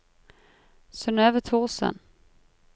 Synøve Thorsen